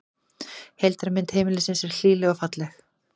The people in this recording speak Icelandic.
Heildarmynd heimilisins er hlýleg og falleg